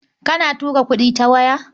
Kana tura kuɗi ta waya?